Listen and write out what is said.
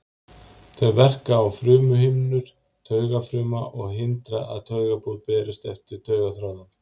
Þau verka á frumuhimnur taugafruma og hindra að taugaboð berist eftir taugaþráðum.